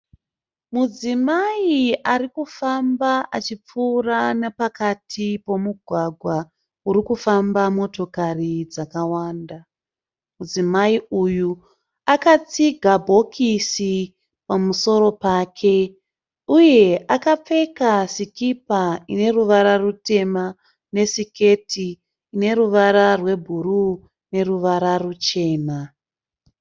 Mudzimai arikufamba achipfuura nepakati pomugwagwa urikufamba motokari dzakawanda. Mudzimai uyu akatsiga bhokisi pamusoro pake uye akapfeka sikipa ine ruvara rutema nesiketi ine ruvara rwebhuruu neruvara ruchena.